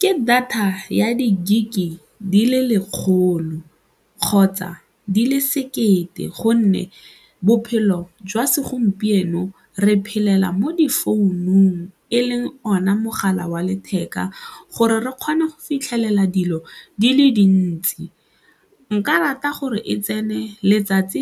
KE data ya di-gig-e di le lekgolo kgotsa di le sekete gonne bophelo jwa segompieno re phelela mo difounung e leng ona mogala wa letheka gore re kgone go fitlhelela dilo di le dintsi. Nka rata gore e tsene letsatsi